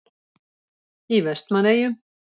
Í Vestmannaeyjum.